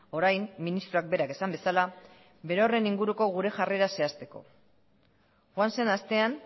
orain ministroak berak esan bezala berorren inguruko gure jarrera zehazteko joan zen astean